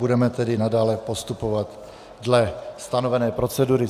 Budeme tedy nadále postupovat dle stanovené procedury.